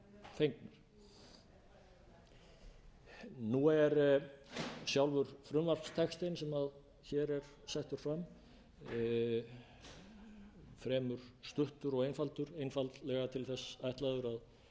brotum tengdar nú er sjálfur frumvarpstextinn sem hér er settur fram fremur stuttur og einfaldur einfaldlega til þess ætlaður að